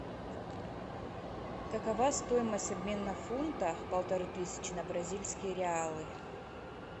какова стоимость обмена фунта полторы тысячи на бразильские реалы